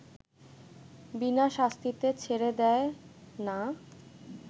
বিনা শাস্তিতে ছেড়ে দেয় না